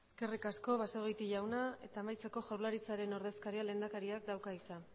eskerrik asko basagoiti jauna eta amaitzeko jaurlaritzaren ordezkariak lehendakariak dauka hitza